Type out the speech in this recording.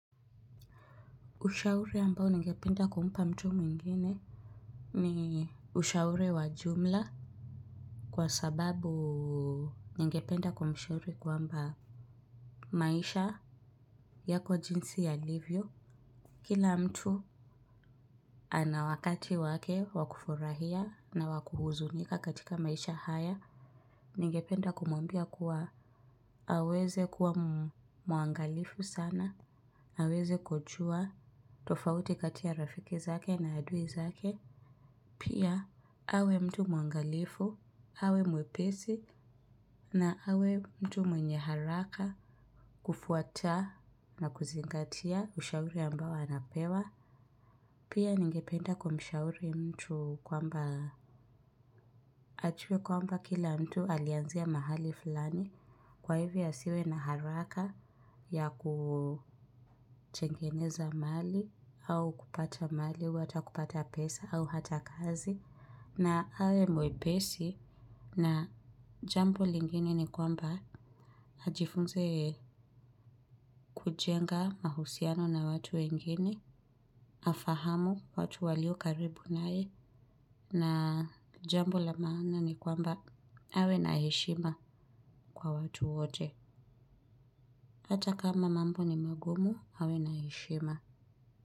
Ushauri ambao ningependa kumupa mtu mwingine. Ni ushauri wa jumla. Kwa sababu nigependa kumshauri kwamba maisha yako jinsi yalivyo. Kila mtu ana wakati wake wa kufurahia na wa kuhuzunika katika maisha haya. Ningependa kumuambia kuwa. Aweze kuwa muangalifu sana. Aweze kujua tofauti katia rafiki zake na adui zake. Pia awe mtu muangalifu, awe mwepesi na awe mtu mwenye haraka kufuata na kuzingatia ushauri ambao anapewa. Pia ningependa kwa mshauri mtu kwamba ajuwe kwamba kila mtu alianzia mahali fulani kwa hivyo asiwe na haraka ya kuchengeneza mali au kupata mali, wata kupata pesa au hata kazi. Na awe mwepesi na jambo lingine ni kwamba ajifunze kujenga mahusiano na watu wengine, afahamu watu walio karibu nae na jambo la maana ni kwamba awe na heshima kwa watu wote. Hata kama mambo ni magumu awe na heshima.